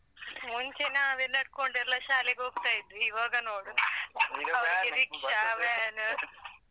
ಮುಂಚೆ ನಾವೇ ನಡ್ಕೊಂಡೆಲ್ಲ ಶಾಲೆಗೆ ಹೋಗ್ತ ಇದ್ವಿ ಇವಾಗ ನೋಡು .